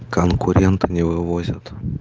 конкурент не вывозят